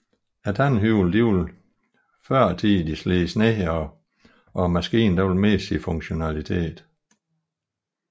Tandhjulene vil førtidig slides ned og maskinen miste sin funktionalitet